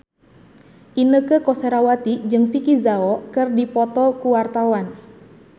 Inneke Koesherawati jeung Vicki Zao keur dipoto ku wartawan